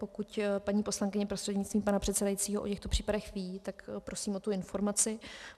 Pokud paní poslankyně prostřednictvím pana předsedajícího o těchto případech ví, tak prosím o tu informaci.